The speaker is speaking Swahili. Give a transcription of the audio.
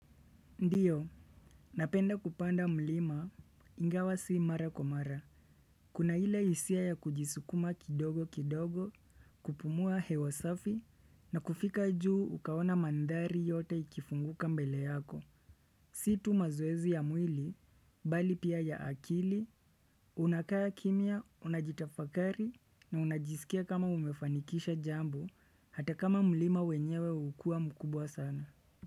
Ndio, napenda kupanda mlima ingawa sii mara kwa mara Kuna ile hisia ya kujisukuma kidogo kidogo kupumua hewa safi na kufika juu ukaona mandhari yote ikifunguka mbele yako Si tu mazoezi ya mwili, bali pia ya akili, unakaa kimya, unajitafakari na unajisikia kama umefanikisha jambo, hata kama mlima wenyewe hukua mkubwa sana.